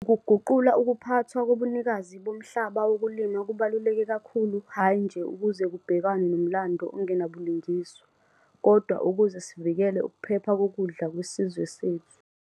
Ukuguqula ukuphathwa kobunikazi bomhlaba wokulima kubaluleke kakhulu hhayi nje ukuze kubhekanwe nomlando ongenabulungiswa, kodwa ukuze sivikele ukuphepha kokudla kwesizwe sethu.